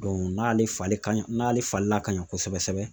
n'ale falen ka ɲi , n'ale falenna ka ɲa kosɛbɛ sɛbɛ